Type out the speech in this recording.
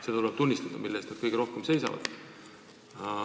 Seda tuleb tunnistada, selle eest nad kõige rohkem seisavad.